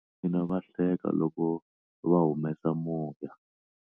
Vana va mina va hleka loko va humesa moya.